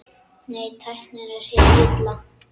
Nei, tæknin er hið illa.